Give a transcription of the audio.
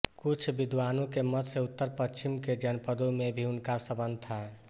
कुछ विद्वानों के मत से उत्तर पश्चिम के जनपदों में भी उनका संबंध था